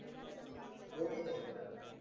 बोलना